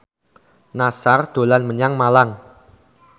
Nassar dolan menyang Malang